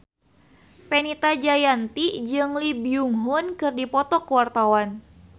Fenita Jayanti jeung Lee Byung Hun keur dipoto ku wartawan